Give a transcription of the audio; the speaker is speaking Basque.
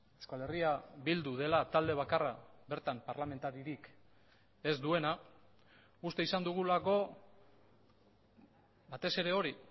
euskal herria bildu dela talde bakarra bertan parlamentaririk ez duena uste izan dugulako batez ere hori